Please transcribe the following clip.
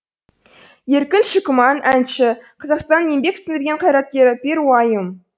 еркін шүкіман әнші қазақстан еңбек сіңірген қайраткері перуайым